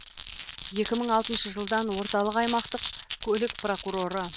екі мың алтыншы жылдан орталық аймақтық көлік прокуроры